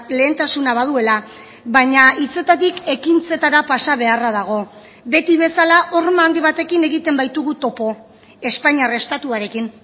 lehentasuna baduela baina hitzetatik ekintzetara pasa beharra dago beti bezala horma handi batekin egiten baitugu topo espainiar estatuarekin